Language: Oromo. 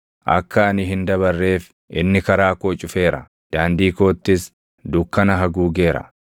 Akka ani hin dabarreef inni karaa koo cufeera; daandii koottis dukkana haguugeera.